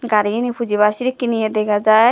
garigani pujibaar sedekken ye dega jaai.